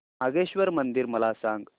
नागेश्वर मंदिर मला सांग